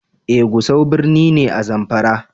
Eh Gusau birni ne, a zamfara.